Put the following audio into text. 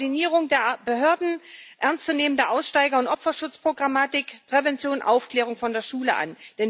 Bessere Koordinierung der Behörden, ernst zu nehmende Aussteiger und Opferschutzprogrammatik, Prävention und Aufklärung von der Schule an.